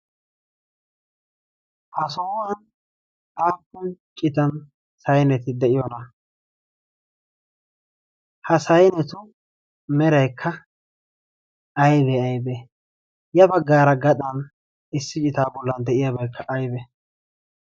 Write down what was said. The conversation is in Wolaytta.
ha sohuwan aappun citan sayneti de'iyoona? ha sainetu mereekka aibee aybee? ya baggaara gadan issi citaa bollan de'iyaabaekka aybee?